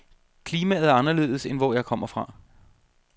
Klimaet er anderledes end hvor jeg kommer fra.